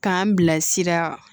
K'an bila sira